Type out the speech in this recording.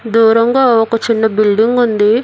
దూరంగా ఒక చిన్న బిల్డింగ్ ఉంది